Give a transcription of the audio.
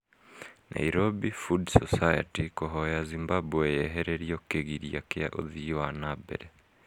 Nairobi Food Society kũhoya Zimbabwe yehererio kĩgiria kĩa ũthii wa na mbere